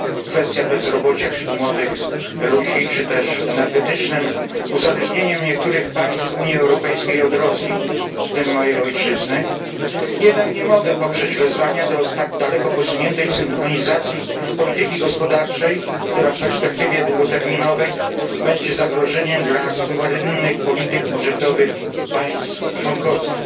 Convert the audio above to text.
kwestią bezrobocia wśród młodych ludzi czy też energetycznym uzależnieniem niektórych państw Unii Europejskiej, w tym mojej ojczyzny, od Rosji, jednak nie mogę poprzeć wezwania do tak daleko posuniętej synchronizacji polityki gospodarczej, która w perspektywie długoterminowej będzie zagrożeniem dla suwerennych polityk budżetowych państw członkowskich.